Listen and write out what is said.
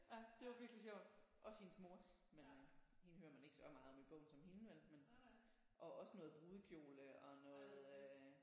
Ja det var virkelig sjovt også hendes mors men hende hører man ikke så meget om i bogen som hende vel og også noget brudekjole og noget øh